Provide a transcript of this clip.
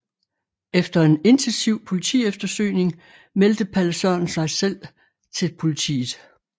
Efter en intensiv politieftersøgning meldte Palle Sørensen sig selv til politiet